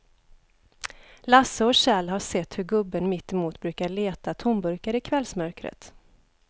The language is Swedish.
Lasse och Kjell har sett hur gubben mittemot brukar leta tomburkar i kvällsmörkret.